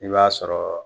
I b'a sɔrɔ